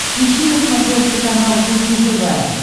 ищи на смотрешке канал кухня тв